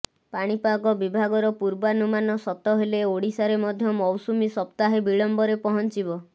ପାଣିପାଗ ବିଭାଗର ପୂର୍ବାନୁମାନ ସତ ହେଲେ ଓଡ଼ିଶାରେ ମଧ୍ୟ ମୌସୁମୀ ସପ୍ତାହେ ବିଳମ୍ବରେ ପହଞ୍ଚିବ